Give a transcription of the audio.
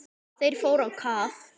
Þeir fóru á kaf.